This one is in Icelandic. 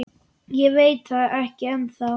Ég veit það ekki ennþá.